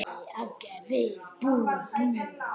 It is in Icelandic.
parmenídes hélt fram allt annars konar hugmyndum